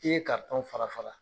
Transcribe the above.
I ye karitɔn fara fara